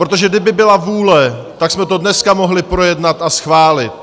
Protože kdyby byla vůle, tak jsme to dneska mohli projednat a schválit.